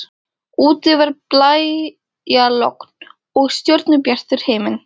Úti var blæjalogn og stjörnubjartur himinn.